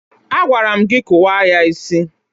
Agwara m gị kụwa ya isi!